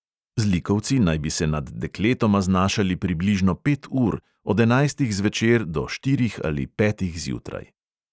Zlikovci naj bi se nad dekletoma znašali približno pet ur, od enajstih zvečer do štirih ali petih zjutraj.